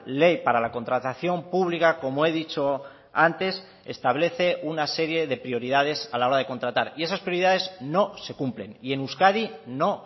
ley para la contratación pública como he dicho antes establece una serie de prioridades a la hora de contratar y esas prioridades no se cumplen y en euskadi no